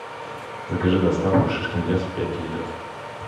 закажи доставку шишкин лес пять литров